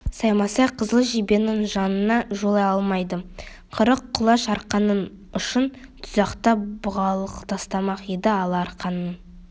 саймасай қызыл жебенің жанына жолай алмайды қырық құлаш арқанның ұшын тұзақтап бұғалық тастамақ еді ала арқанның